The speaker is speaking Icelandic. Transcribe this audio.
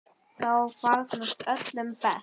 Þá farnast öllum best.